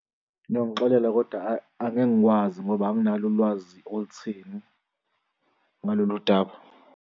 Niyongixolela kodwa ayi, angeke ngikwazi ngoba anginalo ulwazi olutheni ngalolu daba.